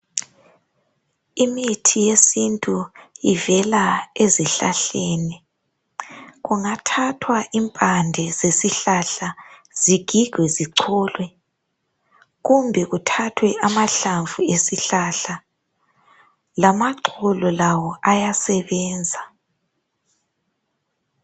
Imithi yesintu ivela ezihlahleni kungathathwa impande zesihlahla zigigwe, zicholwe kumbe kuthathwe amahlamvu, lamaxolo lawo ayasebenza.